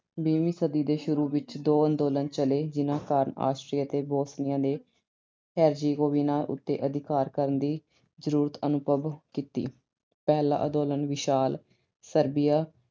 ਵੀਹਵੀਂ ਸਦੀ ਦੇ ਸ਼ੁਰੂ ਵਿੱਚ ਦੋ ਅੰਦੋਲਨ ਚੱਲੇ ਜਿਹਨਾਂ ਕਾਰਨ Austria ਅਤੇ Bosnia ਦੇ Herzegovina ਉੱਤੇ ਅਧਿਕਾਰ ਕਰਨ ਦੀ ਜ਼ਰੂਰਤ ਅਨੁਭਵ ਕੀਤੀ। ਪਹਿਲਾ ਅੰਦੋਲਨ ਵਿਸ਼ਾਲ Serbia